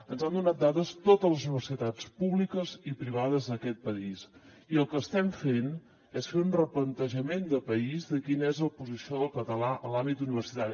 ens han donat dades totes les universitats públiques i privades d’aquest país i el que estem fent és fer un replantejament de país de quina és la posició del català en l’àmbit universitari